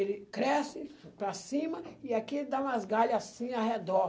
Ele cresce para cima e aqui ele dá umas galhas assim ao redor.